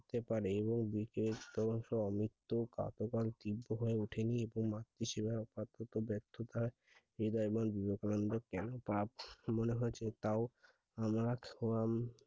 করতে পারে এবং কাকে কার তিব্ব হয়ে উঠেনি উপমা চেরা পার্থক্য ব্যার্থতা এমন কেন মনে হয়েছে আমরা খোয়াম